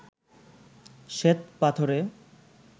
শ্বেত পাথরে